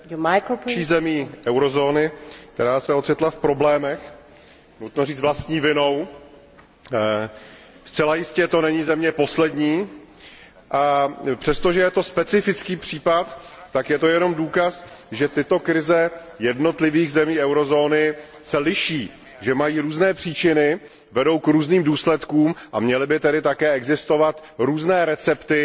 Paní předsedající, Kypr je další zemí eurozóny, která se ocitla v problémech, nutno říct vlastní vinou. Zcela jistě to není země poslední. Přestože je to specifický případ, tak je jenom důkazem, že tyto krize jednotlivých zemí eurozóny se liší, že mají různé příčiny a že vedou k různým důsledkům, a měly by tedy také existovat různé recepty